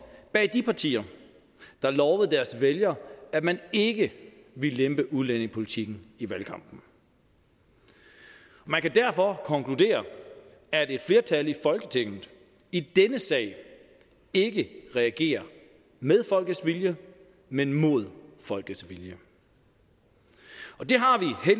bag de partier der lovede deres vælgere at man ikke ville lempe udlændingepolitikken i valgkampen man kan derfor konkludere at et flertal i folketinget i denne sag ikke regerer med folkets vilje men mod folkets vilje og det har